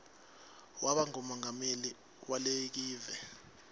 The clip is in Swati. waba ngumongameli walekive